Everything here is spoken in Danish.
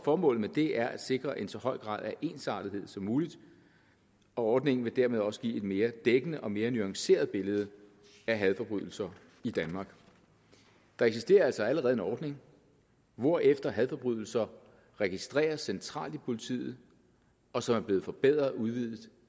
formålet med det er at sikre en så høj grad af ensartethed som muligt og ordningen vil dermed også give et mere dækkende og mere nuanceret billede af hadforbrydelser i danmark der eksisterer altså allerede en ordning hvorefter hadforbrydelser registreres centralt hos politiet og som er blevet forbedret og udvidet